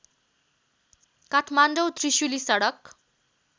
काठमाडौँ त्रिशुली सडक